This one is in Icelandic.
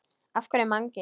Af hverju Mangi?